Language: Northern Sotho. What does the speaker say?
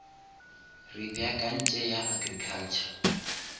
re beakantše ya agriculture